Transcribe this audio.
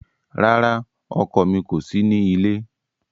Rara, ọkọ mi ko si ni ile